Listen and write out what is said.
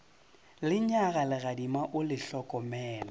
lenyaga legadima o le hlokomele